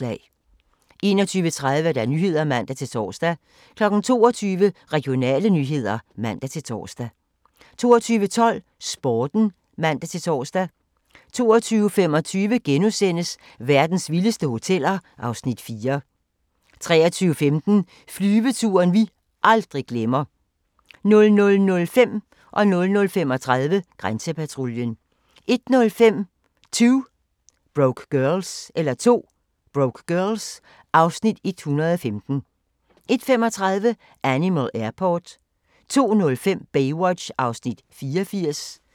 21:30: Nyhederne (man-tor) 22:00: Regionale nyheder (man-tor) 22:12: Sporten (man-tor) 22:25: Verdens vildeste hoteller (Afs. 4)* 23:15: Flyveturen vi aldrig glemmer 00:05: Grænsepatruljen 00:35: Grænsepatruljen 01:05: 2 Broke Girls (Afs. 115) 01:35: Animal Airport 02:05: Baywatch (84:243)